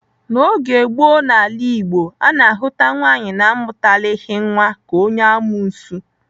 N'oge gboo n'ala Igbo, a na-ahụta nwaanyị na-amụtalighị nwa ka onye amuosu.